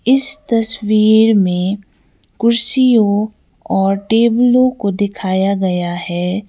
इस तस्वीर में कुर्सियों और टेबलों को दिखाया गया है।